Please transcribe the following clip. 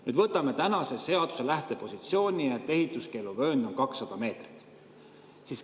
Nüüd, võtame tänase seaduse lähtepositsiooni, et ehituskeeluvöönd on 200 meetrit.